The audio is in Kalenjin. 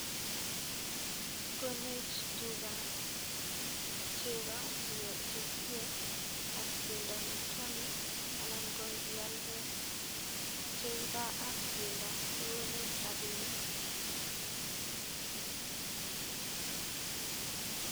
Konech tuka cheko chekilue ak bendo nekiome anan ko ng'ialde cheko ak bendo kokonech rabinik.